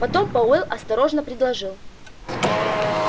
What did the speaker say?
потом пауэлл осторожно предложил